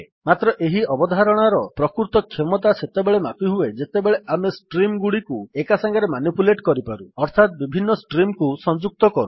ମାତ୍ର ଏହି ଅବଧାରଣାର ପ୍ରକୃତ କ୍ଷମତା ସେତେବେଳେ ମାପିହୁଏ ଯେତେବେଳେ ଆମେ ଷ୍ଟ୍ରିମ୍ ଗୁଡିକୁ ଏକା ସାଙ୍ଗରେ ମାନିପୁଲେଟ୍ କରିପାରୁ ଅର୍ଥାତ୍ ବିଭିନ୍ ଷ୍ଟ୍ରିମ୍ କୁ ସଂଯୁକ୍ତ କରୁ